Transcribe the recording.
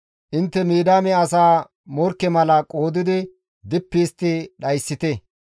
«Intte Midiyaame asaa morkke mala qoodidi dippi histti dhayssite.